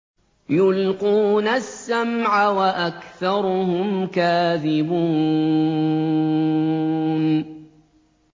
يُلْقُونَ السَّمْعَ وَأَكْثَرُهُمْ كَاذِبُونَ